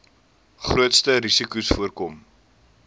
grootste risikos voorkom